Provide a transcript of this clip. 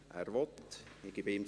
– Er will.